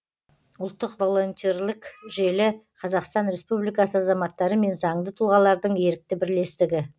ұлттық волонтерлік желі қазақстан республикасы азаматтары мен заңды тұлғалардың ерікті бірлестігі